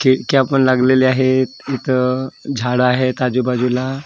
खिडक्या पण लागलेल्या आहेत इथं झाडं आहेत आजूबाजूला.